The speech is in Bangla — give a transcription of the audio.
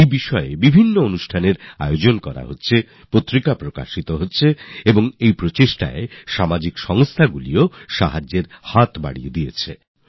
নানা রকমের কর্মসূচির আয়োজন করা হচ্ছে পত্রিকা প্রকাশ করা হচ্ছে আর এতে সামাজিক সংস্থাগুলিরও সাহায্য পাওয়া যাচ্ছে